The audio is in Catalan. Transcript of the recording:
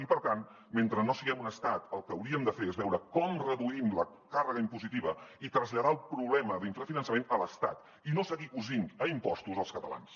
i per tant mentre no siguem un estat el que hauríem de fer és veure com reduïm la càrrega impositiva i traslladar el problema d’infrafinançament a l’estat i no seguir cosint a impostos els catalans